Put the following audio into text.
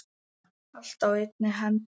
Allt á einni hendi.